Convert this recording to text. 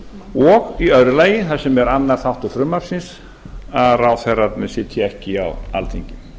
og í öðru lagi það sem er annar þáttur frumvarpsins að ráðherrarnir sitji ekki á alþingi